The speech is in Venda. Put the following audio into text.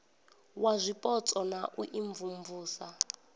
wa zwipotso na u imvumvusa